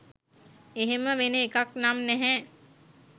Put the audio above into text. එහෙම වෙන එකක් නම් නැහැ.